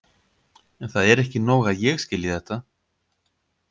En það er ekki nóg að ég skilji þetta.